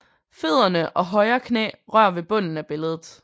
Fødderne og højre knæ rører ved bunden af billedet